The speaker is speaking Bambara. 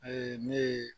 ne ye